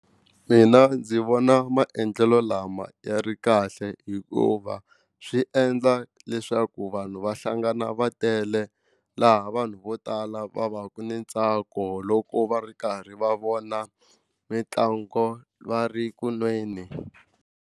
Mina ndzi vona maendlelo lama ya ri kahle hikuva swi endla leswaku vanhu va hlangana va tele laha vanhu vo tala va va ku ni ntsako loko va ri karhi va vona mitlangu va ri ku nweni.